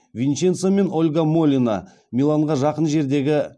винченцо мен ольга молино миланға жақын жердегі